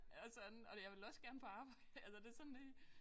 Og sådan og jeg vil også gerne på arbejde altså det sådan lige